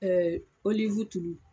Ɛɛ oliwu tulu